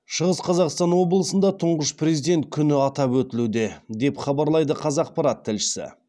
шығыс қазақстан облысында тұңғыш президент күні атап өтілуде деп хабарлайды қазақпарат тілшісі